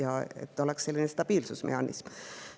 olla stabiilsusmehhanism.